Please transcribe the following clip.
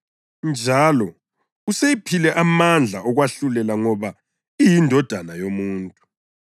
Njalo useyiphile amandla okwahlulela ngoba iyiNdodana yoMuntu.